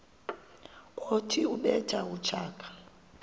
othi ubethe utshaka